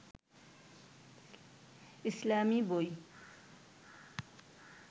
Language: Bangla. ইসলামী বই